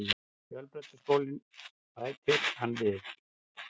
Fjölbrautaskólann, bætir hann við.